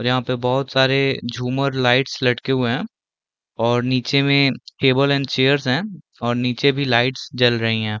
और यहाँ पे बहुत सारे झूमर लाइट्स लटके हुए है और निचे में टेबल्स एंड चेयर्स है और निचे भी लाइट्स जल रही हैं ।